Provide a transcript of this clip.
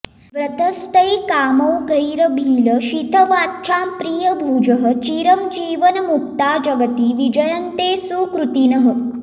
व्रतस्थैः कामौघैरभिलषितवाञ्छां प्रियभुजः चिरं जीवन्मुक्ता जगति विजयन्ते सुकृतिनः